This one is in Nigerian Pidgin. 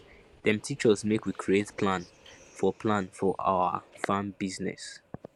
dem teach us make we create plan for plan for awa farm business